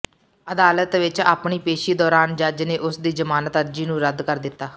ਅਦਾਲਤ ਵਿੱਚ ਆਪਣੀ ਪੇਸ਼ੀ ਦੌਰਾਨ ਜੱਜ ਨੇ ਉਸ ਦੀ ਜ਼ਮਾਨਤ ਅਰਜ਼ੀ ਨੂੰ ਰੱਦ ਕਰ ਦਿੱਤਾ